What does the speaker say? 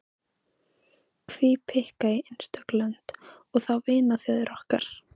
Hví pikka í einstök lönd, og þá vinaþjóðir okkar.